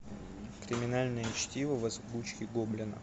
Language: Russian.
криминальное чтиво в озвучке гоблина